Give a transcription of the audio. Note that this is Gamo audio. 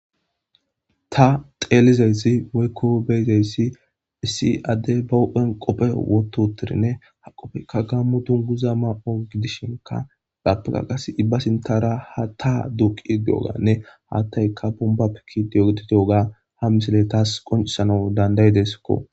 ta xeelizayssi woykko beyzeyssi issi adde bahuphen qophe wototirinne ha qofheykka gammu dun guza ma7o gidishinka gappega qas ibba sintara ha ta duuqi deoganne haattayka bombappekidiyogididiyoga ha misile taas qoncisano dandayideskko